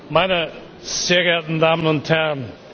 Meine sehr geehrten Damen und Herren!